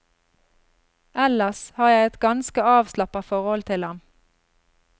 Ellers har jeg et ganske avslappa forhold til ham.